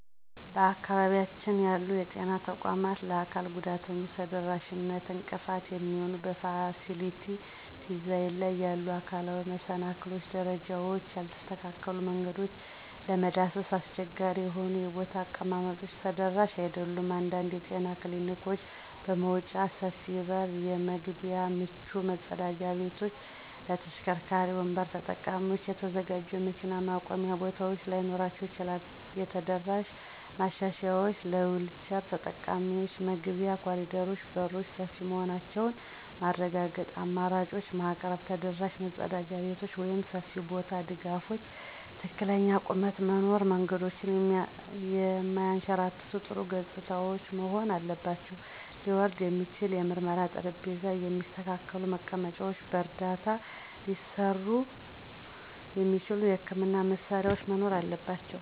በአካባቢያችን ያሉ የጤና ተቋማት ለአካል ጉዳተኞች ተደራሽነት እንቅፋት የሚሆኑ በፋሲሊቲ ዲዛይን ላይ ያሉ አካላዊ መሰናክሎች - ደረጃዎች፣ ያልተስተካከሉ መንገዶች፣ ለመዳሰስ አስቸጋሪ የሆኑ የቦታ አቀማመጦች ተደራሽ አይደሉም። አንዳንድ የጤና ክሊኒኮች መወጣጫ፣ ሰፊ የበር መግቢያዎች፣ ምቹ መጸዳጃ ቤቶች ለተሽከርካሪ ወንበር ተጠቃሚዎች የተዘጋጁ የመኪና ማቆሚያ ቦታዎች ላይኖራቸው ይችላል። የተደራሽ ማሻሻያዎች - ለዊልቸር ተጠቃሚዎች መግቢያ፣ ኮሪደሮች፣ በሮች ሰፊ መሆናቸውን ማረጋገጥ፣ አማራጮችን ማቅረብ። ተደራሽ መጸዳጃ ቤቶች (ሰፊ ቦታ፣ ድጋፎች፣ ትክክለኛ ቁመት) መኖር። መንገዶች የማያንሸራትቱ፣ ጥሩ ገጽታዎች መሆን አለባቸው። ሊወርድ የሚችል የምርመራ ጠረጴዛ፣ የሚስተካከሉ መቀመጫዎች፣ በረዳት ሊሠሩ የሚችሉ የሕክምና መሳሪያዎች መኖር አለባቸው።